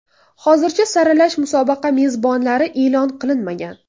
Hozircha saralash musobaqa mezbonlari e’lon qilinmagan.